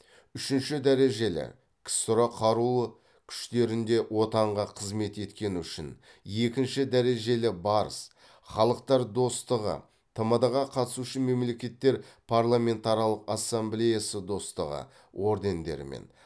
үшінші дәрежелі ксро қарулы күштерінде отанға қызмет еткені үшін екінші дәрежелі барыс халықтар достығы тмд ға қатысушы мемлекеттер парламентаралық ассамблеясы достығы ордендерімен